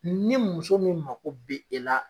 Ni muso min mako be e la